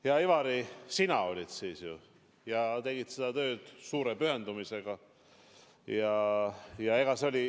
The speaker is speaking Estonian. Hea Ivari, sina olid siis rahandusminister ja tegid seda tööd suure pühendumisega.